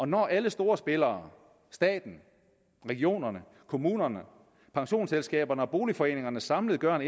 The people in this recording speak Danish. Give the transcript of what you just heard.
når alle store spillere staten regionerne kommunerne pensionsselskaberne og boligforeningerne samlet gør